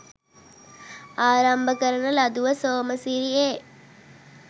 ආරම්භ කරන ලදුව සෝමසිරි ඒ.